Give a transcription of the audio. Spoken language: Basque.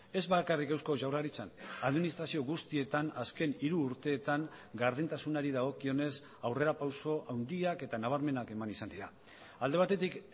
ez bakarrik eusko jaurlaritzan administrazio guztietan azken hiru urteetan gardentasunari dagokionez aurrerapauso handiak eta nabarmenak eman izan dira alde batetik